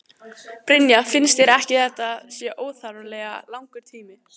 Brynja: Finnst þér ekki að þetta sé óþarflega langur tími?